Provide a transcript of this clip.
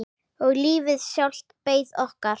Og lífið sjálft beið okkar.